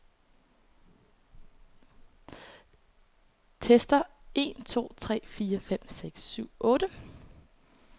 Tester en to tre fire fem seks syv otte.